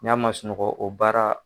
N y'a ma sunɔgɔ o baara.